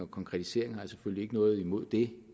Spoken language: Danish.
konkretisering har jeg selvfølgelig ikke noget imod det